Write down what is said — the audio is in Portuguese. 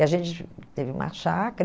E a gente teve uma chácara.